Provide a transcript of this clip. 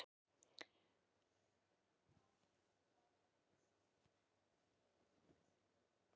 Helga María: Og eruð þið búin að fjárfesta í einu slíku?